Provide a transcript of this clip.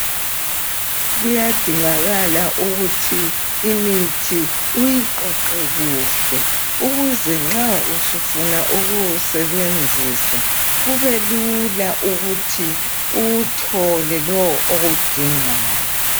Kuyadingakala ukuthi imithi uyiqoqe kuhle ukuze nxa usufuna ukuwusebenzisa kube lula ukuthi uwuthole lowu owudingayo.